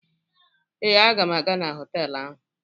Ee, m ga-aga na họtelụ ahụ.